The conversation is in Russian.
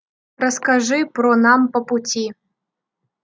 расскажи про нам по пути